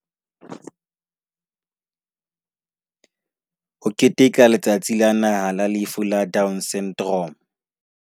Ho keteka Letsatsi la Naha la Lefu la Down Syndrome